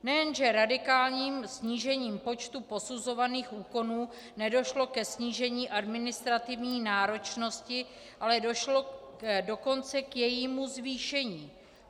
Nejenže radikálním snížením počtu posuzovaných úkonů nedošlo ke snížení administrativní náročnosti, ale došlo dokonce k jejímu zvýšení.